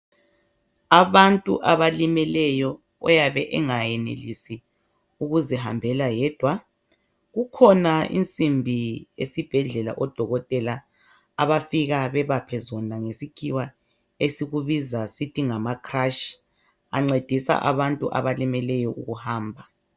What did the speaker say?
Abantu abalimeleyo oyabe engakwanisi ukuzihambela yedwa kukhona insimbi esibhedlela odokotela abafika bebaphe zona ngesikhiwa esikubiza sithi ngama crutch ancedisa abantu abalimeleyo ukuhamba.